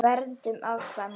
Verndun afkvæma